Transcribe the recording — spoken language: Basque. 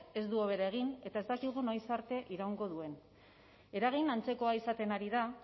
ez du hobera egin eta ez dakigu noiz arte iraungo duen eragin antzekoa izaten ari da